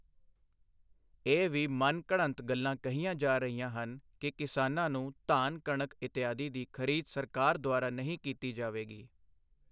ਇਹ ਵੀ ਮਨ ਘੜੰਤ ਗੱਲਾਂ ਕਹੀਆਂ ਜਾ ਰਹੀਆਂ ਹਨ ਕਿ ਕਿਸਾਨਾਂ ਨੂੰ ਧਾਨ ਕਣਕ ਇਤਿਆਦਿ ਦੀ ਖਰੀਦ ਸਰਕਾਰ ਦੁਆਰਾ ਨਹੀਂ ਕੀਤੀ ਜਾਵੇਗੀ।